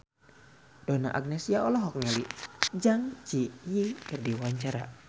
Donna Agnesia olohok ningali Zang Zi Yi keur diwawancara